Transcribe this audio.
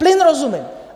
Plyn rozumím.